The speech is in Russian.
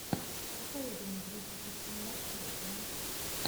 посоветуй мне туристические маршруты